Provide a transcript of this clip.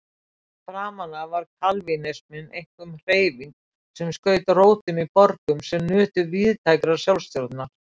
Framan af var kalvínisminn einkum hreyfing sem skaut rótum í borgum sem nutu víðtækrar sjálfsstjórnar.